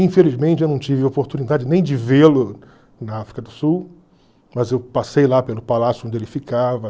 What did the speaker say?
Infelizmente, eu não tive oportunidade nem de vê-lo na África do Sul, mas eu passei lá pelo palácio onde ele ficava.